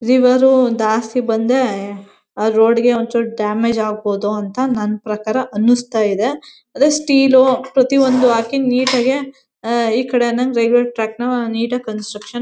River ಉ ದಾಸ್ತಿ ಸ್ತಿ ಬಂದ್ರೆ ಆ ರೋಡ್ ಗೆ ಒಂಚೂರ್ ಡ್ಯಾಮೇಜ್ ಆಗಬೋದು ಅಂತ ನನ್ ಪ್ರಕಾರ ಅನ್ಸ್ತಾ ಇದೆ. ಅದೇ ಸ್ಟೀಲು ಪ್ರತಿ ಒಂದುಒಂದು ಹಾಕೀ ನೀಟ್ ಆಗಿ ಹಾ ಈಕಡೆ ಅನ್ನಂಗ್ ರೈಲ್ವೆ ಟ್ರ್ಯಾಕ್ ನ ನೀಟ್ ಆಗಿ ಕನ್ಸ್ಟ್ರಕ್ಷನ್ --